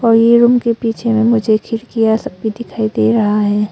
और ये रूम के पीछे में मुझे खिड़किया सब भी दिखाई दे रहा है।